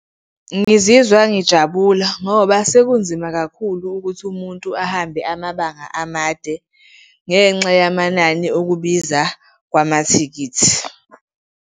Ngizizwa ngijabula ngoba sekunzima kakhulu ukuthi umuntu ahambe amabanga amade ngenxa yamanani okubiza kwamathikithi.